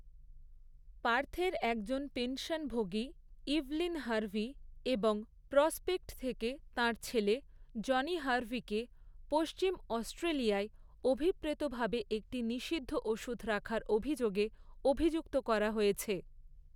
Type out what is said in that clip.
পার্থের একজন পেনশনভোগী Evelyn Harvey, এবং প্রসপেক্ট থেকে তাঁর ছেলে জনি হারভিকে পশ্চিম অস্ট্রেলিয়ায়, অভিপ্রেতভাবে একটি নিষিদ্ধ ওষুধ রাখার অভিযোগে অভিযুক্ত করা হয়েছে৷